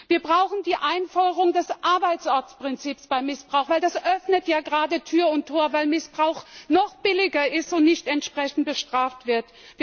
Wir brauchen die Einforderung des Arbeitsortsprinzips bei Missbrauch, denn das öffnet ja gerade Missbrauch Tür und Tor, da er noch billiger ist und nicht entsprechend bestraft wird.